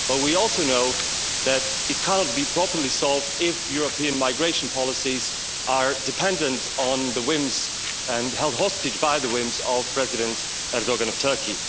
But we also know that it can't be properly solved if European migration policies are dependent on the whims, and held hostage by the whims, of President Erdoğan of Turkey.